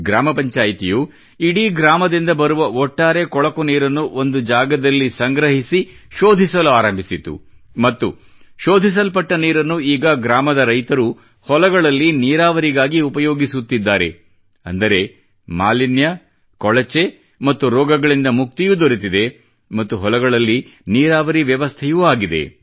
ಗ್ರಾಮ ಪಂಚಾಯಿತಿಯು ಇಡೀ ಗ್ರಾಮದಿಂದ ಬರುವ ಒಟ್ಟಾರೆ ಕೊಳಕು ನೀರನ್ನು ಒಂದು ಜಾಗದಲ್ಲಿ ಸಂಗ್ರಹಿಸಿ ಶೋಧಿಸಲು ಆರಂಭಿಸಿತು ಮತ್ತು ಶೋಧಿಸಲ್ಪಟ್ಟ ನೀರನ್ನು ಈಗ ಗ್ರಾಮದ ರೈತರು ಹೊಲಗಳಲ್ಲಿ ನೀರಾವರಿಗಾಗಿ ಉಪಯೋಗಿಸುತ್ತಿದ್ದಾರೆ ಅಂದರೆ ಮಾಲಿನ್ಯ ಕೊಳಚೆ ಮತ್ತು ರೋಗಗಳಿಂದ ಮುಕ್ತಿಯೂ ದೊರೆತಿದೆ ಮತ್ತು ಹೊಲಗಳಲ್ಲಿ ನೀರಾವರಿಯೂ ವ್ಯವಸ್ಥೆಯೂ ಆಗಿದೆ